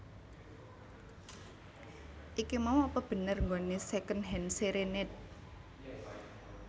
Iki mau apa bener nggone Secondhand Serenade